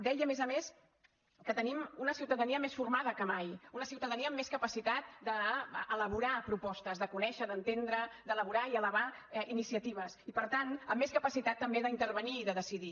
deia a més a més que tenim una ciutadania més formada que mai una ciutadania amb més capacitat d’elaborar propostes de conèixer d’entendre d’elaborar i elevar iniciatives i per tant amb més capacitat també d’intervenir i de decidir